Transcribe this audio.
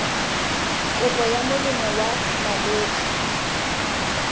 kopo ya molemo wa malwetse